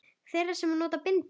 Þeirra sem nota bindi?